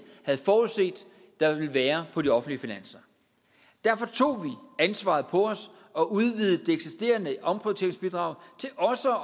havde forudset der ville være på de offentlige finanser derfor tog vi ansvaret på os og udvidede det eksisterende omprioriteringsbidrag til også